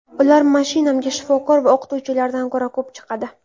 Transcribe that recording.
Ular mashinamga shifokor va o‘qituvchilardan ko‘ra ko‘p chiqadi.